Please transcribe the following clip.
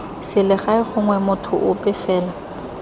selegae gongwe motho ope fela